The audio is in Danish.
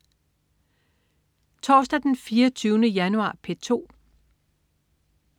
Torsdag den 24. januar - P2: